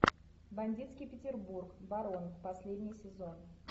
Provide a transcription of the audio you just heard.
бандитский петербург барон последний сезон